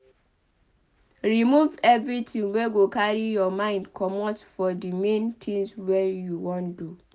Remove everything wey go carry your mind comot for the main thing wey you wan do